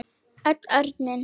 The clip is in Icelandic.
Öll örin.